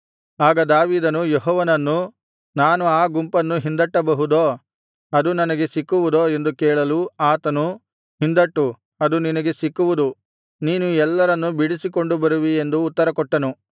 ಆಗ ದಾವೀದನು ಯೆಹೋವನನ್ನು ನಾನು ಆ ಗುಂಪನ್ನು ಹಿಂದಟ್ಟಬಹುದೋ ಅದು ನನಗೆ ಸಿಕ್ಕುವುದೋ ಎಂದು ಕೇಳಲು ಆತನು ಹಿಂದಟ್ಟು ಅದು ನಿನಗೆ ಸಿಕ್ಕುವುದು ನೀನು ಎಲ್ಲರನ್ನೂ ಬಿಡಿಸಿಕೊಂಡು ಬರುವಿ ಎಂದು ಉತ್ತರಕೊಟ್ಟನು